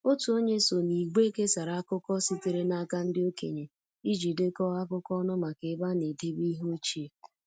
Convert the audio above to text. Otu onye so n’ìgwè kesara akụkọ sitere n’aka ndị okenye iji dekọọ akụkọ ọnụ maka ebe a na-edebe ihe ochie